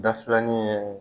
Dafilanin ye